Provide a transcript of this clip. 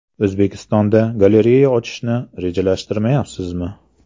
O‘zbekistonda galereya ochishni rejalashtirmayapsizmi?